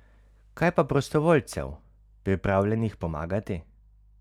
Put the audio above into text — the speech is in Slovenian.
Kaj pa prostovoljcev, pripravljenih pomagati?